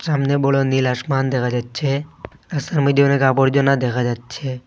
সামনে বড় নীল আসমান দেখা যাচ্ছে রাস্তার মইধ্যে অনেক আবর্জনা দেখা যাচ্ছে।